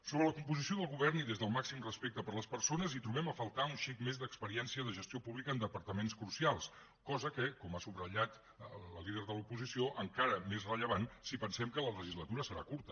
sobre la composició del govern i des del màxim respecte per les persones trobem a faltar un xic més d’experiència de gestió pública en departaments crucials cosa que com ha subratllat la líder de l’oposició encara és més rellevant si pensem que la legislatura serà curta